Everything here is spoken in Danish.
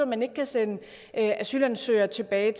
man ikke kan sende asylansøgere tilbage